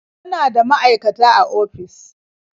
Muna da maaikata a ofis.